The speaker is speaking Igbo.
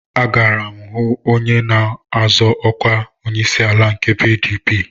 Agara m onye na-azọ ọkwa onyeisiala nke PDP